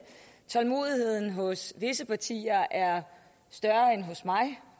tålmodigheden hos visse partier er større end hos mig